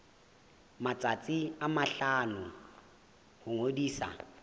matsatsi a mahlano ho ngodisa